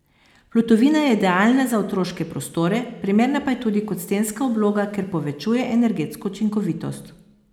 Plutovina je idealna za otroške prostore, primerna pa je tudi kot stenska obloga, ker povečuje energetsko učinkovitost.